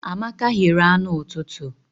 Amaka ghere anụ ụtụtụ.